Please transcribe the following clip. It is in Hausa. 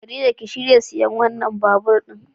Khadija ki shirya siyan wannan babur din.